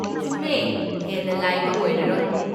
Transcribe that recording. ꯆꯨꯝꯃꯦ! ꯍꯦꯟꯅ ꯂꯥꯏꯕ ꯑꯣꯏꯔꯔꯣꯏ꯫